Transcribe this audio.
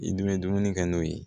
I dɛnmɛn dumuni kɛ n'o ye